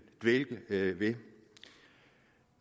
vil dvæle ved